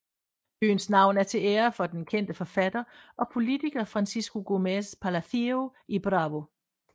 Byens navn er til ære for den kendte forfatter og politiker Francisco Gómez Palacio y Bravo